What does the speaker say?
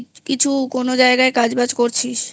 কিছু কোন জায়গায় কাজ বাজ করছিস?